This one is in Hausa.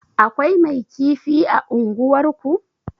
Akwai mai kifi a unguwar ku?